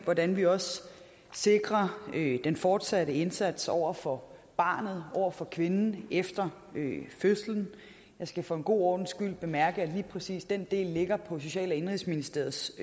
hvordan vi også sikrer den fortsatte indsats over for barnet over for kvinden efter fødslen jeg skal for en god ordens skyld bemærke at lige præcis den del ligger på social og indenrigsministeriets